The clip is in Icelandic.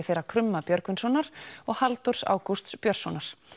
þeirra krumma Björgvinssonar og Halldórs Ágústs Björnssonar